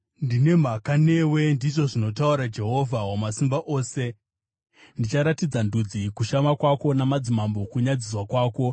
“Ndine mhaka newe,” ndizvo zvinotaura Jehovha Wamasimba Ose. Ndichafukura nguo yako ifukidze chiso chako “Ndicharatidza ndudzi kushama kwako namadzimambo kunyadziswa kwako.